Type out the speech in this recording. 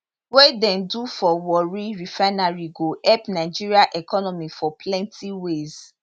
wey dem do for warri refinery go help nigeria economy for plenty ways